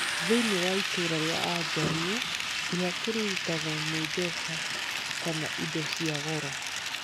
Thĩinĩ wa ĩitũũra rĩa Ajaruo, ihaki rĩrutagwo nĩ mbeca kana indo cia goro.